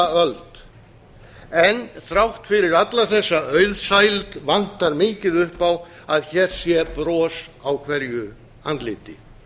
öld en þrátt fyrir alla þessa auðsæld vantar mikið upp á að hér sé bros á hverju andliti